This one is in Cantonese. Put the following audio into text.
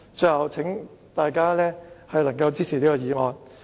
最後，請大家支持這項議案。